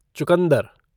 चुकंदर